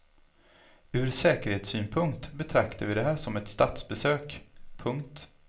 Ur säkerhetssynpunkt betraktar vi det här som ett statsbesök. punkt